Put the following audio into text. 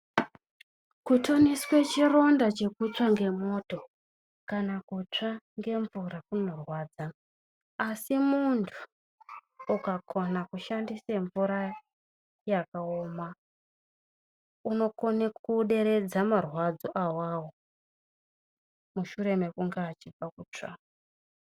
Kuthoniswa chironda chekutsva ngemwoto kana kutsva ngemvura kunorwadza, asi munhu ukakona kushandisa mvura yakaoma unokona kuderedza marwadzo awawo mushure mekunge achibva kutsva.